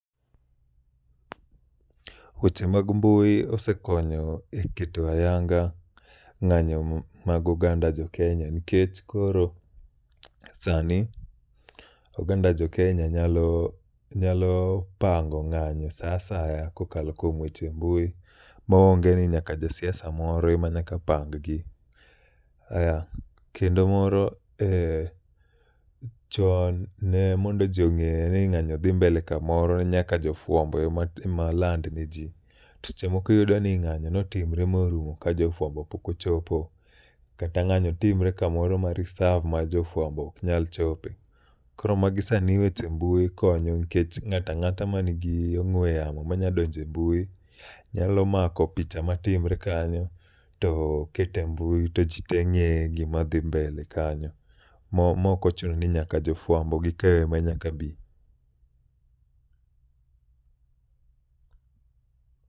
Weche mag mbui osekonyo e keto ayanga ng'anyo mag oganda jo Kenya nikech koro sani, oganda jo Kenya nyalo, nyalo pango ng'anyo sa asaya kokalo kuom weche mbui maonge ni nyaka ja siaso moro e ma nyaka pang gi. Kendo moro e chon ne mondo ji ong'e ni ng'anyo dhi mbele kamoro ne nyaka jo fwambo e ma land ne ji. Seche moko iyudo ni ng'anyo notimre morumo ka jofuambo pokochopo. Kata ng'anyo timre kamoro ma risav ma jofuambo ok nya chope. Koro magi sani weche mbui konyo nkech ng'ata ng'ata ma nigi ong'we yamo manya donje mbui, nyalo mako picha matimre kanyo. To kete mbui to ji te ng'e gima dhi mbele kanyo, mo maok ochuno ni nyaka jo fuambo gi keyo ema nyaka bi.